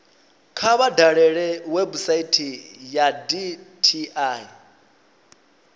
kha vha dalele website ya dti